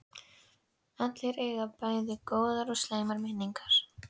Allir eiga bæði góðar og slæmar minningar.